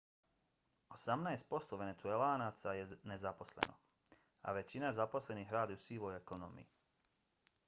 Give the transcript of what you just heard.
osamnaest posto venecuelanaca je nezaposleno a većina zaposlenih radi u sivoj ekonomiji